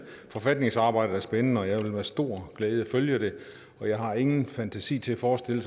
forfatningsarbejdet er spændende og jeg vil med stor glæde følge det og jeg har ingen fantasi til at forestille